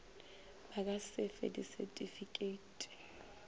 ba ka se fe disetifikeiti